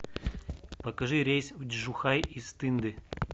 покажи рейс в чжухай из тынды